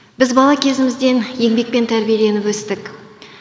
біз бала кезімізден еңбекпен тәрбиеленіп өстік